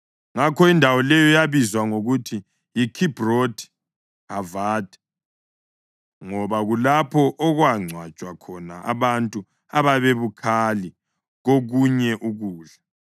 Ngakho indawo leyo yabizwa ngokuthi yiKhibhrothi Hathava, ngoba kulapho okwangcwatshwa khona abantu ababebukhali kokunye ukudla.